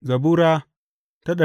Zabura Sura